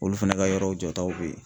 Olu fana ka yɔrɔw jɔ taw be yen